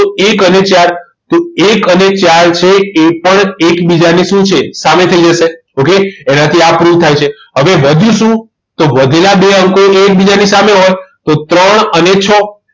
તો એક અને ચાર છે તો એક અને ચાર છે એ પણ એકબીજાની શું છે સામે થઈ જશે okay એનાથી આ proof થાય છે હવે વધ્યું શું તો વધેલા બે અંકો એકબીજાની સામે હોય તો ત્રણ અને છ